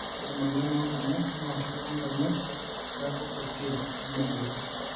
ore emoyian oonkonyek naa keiko ngonyek peeku kutik nemodoku